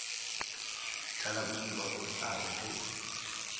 thalabodiba o tla re ge